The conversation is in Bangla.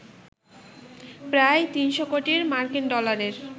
প্রায় ৩০০ কোটি মার্কিন ডলারের